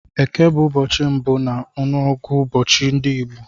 Eke bụ ụbọchị mbụ na ngụụbọchi ndị Igbo.